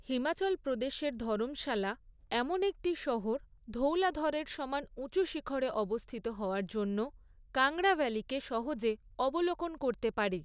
হিমাচল প্রদেশের ধরমশালা এমন একটি শহর ধৌলাধরের সমান উঁচু শিখড়ে অবস্থিত হওয়ার জন্য কাংড়া ভ্যালিকে সহজে অবলোকন করতে পারে।